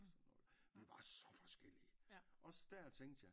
Det var så forskellige også der tænkte jeg